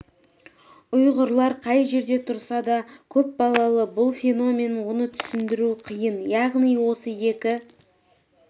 ұйғырлар қай жерде тұрса да көп балалы бұл феномен оны түсіндіру қиын яғни осы екі